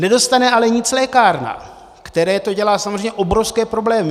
Nedostane ale nic lékárna, které to dělá samozřejmě obrovské problémy.